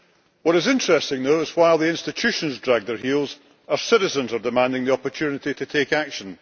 What is interesting, though, is that while the institutions drag their heels our citizens are demanding the opportunity to take action.